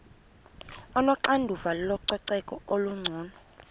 onoxanduva lococeko olungcono